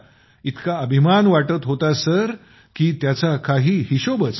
इतकाअभिमान वाटत होता की त्याचा काही हिशोबच नाही